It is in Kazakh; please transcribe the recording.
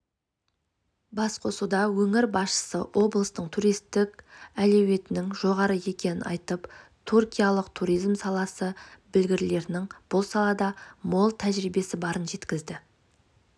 басқосуда өңір басшысы облыстың туристік әлеуетінің жоғары екенін айтып түркиялық туризм саласы білгірлерінің бұл салада мол тәжірибесі барын жеткізді